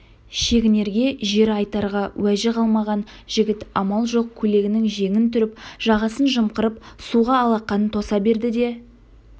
шегінерге жері айтарға уәжі қалмаған жігіт амал жоқ көйлегінің жеңін түріп жағасын жымқырып суға алақанын тоса берді де